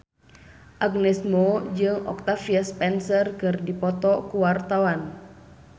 Agnes Mo jeung Octavia Spencer keur dipoto ku wartawan